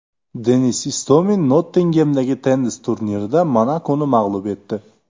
Denis Istomin Nottingemdagi tennis turnirida Monakoni mag‘lub etdi.